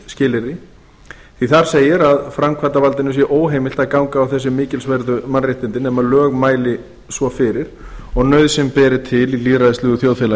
skilyrði því þar segir að framkvæmdarvaldinu sé óheimilt að ganga á þessi mikilsverðu mannréttindi nema lög mæli svo fyrir og nauðsyn beri til í lýðræðislegu þjóðfélagi